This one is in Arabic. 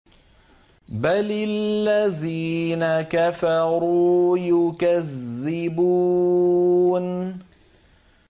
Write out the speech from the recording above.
بَلِ الَّذِينَ كَفَرُوا يُكَذِّبُونَ